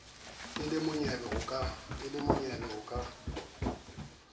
a le monyebe ho ka